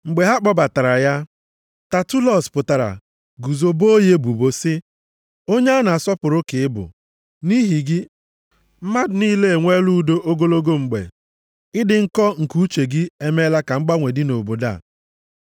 Mgbe a kpọbatara ya, Tatulọs pụtara guzo boo ya ebubo sị, “Onye a na-asọpụrụ ka ị bụ. Nʼihi gị, mmadụ niile enwela udo ogologo mgbe. Ịdị nkọ nke uche gị emeela ka mgbanwe dị nʼobodo a.